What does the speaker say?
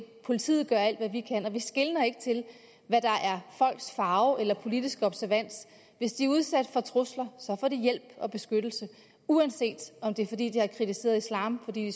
politiet gør alt hvad de kan og vi skeler ikke til hvad der er folks farve eller politiske observans hvis de er udsat for trusler får de hjælp og beskyttelse uanset om det er fordi de har kritiseret islam fordi